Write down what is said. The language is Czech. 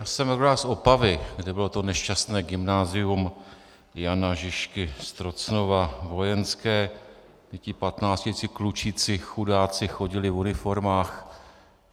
Já jsem rodák z Opavy, kde bylo to nešťastné gymnázium Jana Žižky z Trocnova vojenské, kde ti patnáctiletí klučíci chudáci chodili v uniformách.